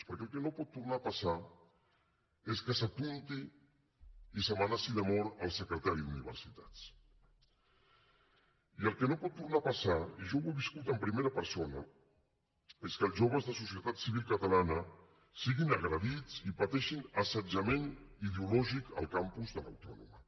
perquè el que no pot tornar a passar és que s’apunti i s’amenaci de mort el secretari d’universitats i el que no pot tornar a passar i jo ho he viscut en primera persona és que els joves de societat civil catalana siguin agredits i pateixin assetjament ideològic al campus de l’autònoma